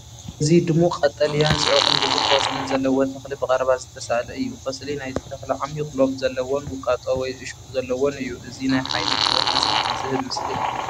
እዚ ድሙቕ ቀጠልያን ጽዑቕን ብዙሕ ቆጽልን ዘለዎ ተኽሊ ብቐረባ ዝተሳእለ እዩ። ቆጽሊ ናይዚ ተኽሊ ዓሚቝ ሎብ ዘለዎን ውቃጦ ወይ እሾኽ ዘለዎን እዩ። እዚ ናይ ሓይልን ህይወትን ስምዒት ዝሀብ ምስሊ እዩ።